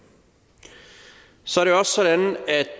så